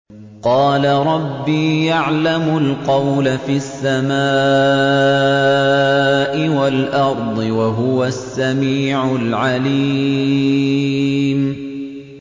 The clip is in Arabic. قَالَ رَبِّي يَعْلَمُ الْقَوْلَ فِي السَّمَاءِ وَالْأَرْضِ ۖ وَهُوَ السَّمِيعُ الْعَلِيمُ